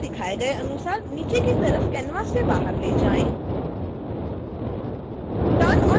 text को दिखाए गए अनुसार नीचे की तरफ़ canvas से बाहर ले जाएं